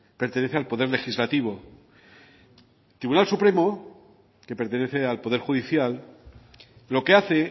pertenece al poder legislativo el tribunal supremo que pertenece al poder judicial lo que hace